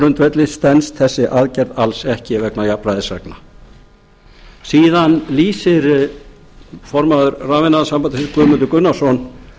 grundvelli stenst þessi aðgerð alla ekki vegna jafnvægisreglna síðan lýsir formaður rafiðnaðarsambandsins guðmundur gunnarsson